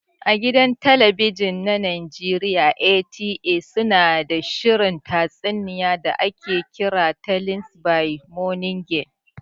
A gidan talabijin na Najeriya NTA su na da shirin tatsuniya da ake kira "Tales by moonlight".